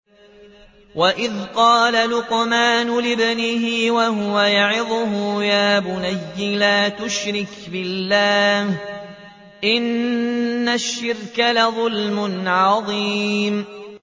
وَإِذْ قَالَ لُقْمَانُ لِابْنِهِ وَهُوَ يَعِظُهُ يَا بُنَيَّ لَا تُشْرِكْ بِاللَّهِ ۖ إِنَّ الشِّرْكَ لَظُلْمٌ عَظِيمٌ